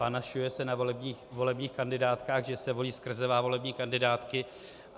Panašuje se na volebních kandidátkách, že se volí skrze volební kandidátky.